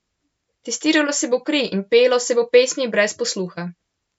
Testiralo se bo kri in pelo se bo pesmi brez posluha.